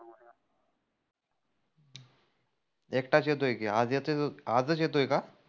एकटाच येतोय की आज येतोय, आजच येतोय का?